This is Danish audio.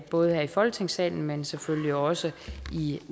både her i folketingssalen men selvfølgelig også i